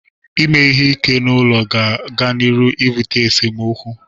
Ime ihe ike n'ụlọ ga-aga n'iru ibute esemokwu.